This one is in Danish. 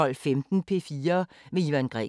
Radio24syv